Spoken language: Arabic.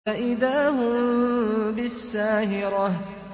فَإِذَا هُم بِالسَّاهِرَةِ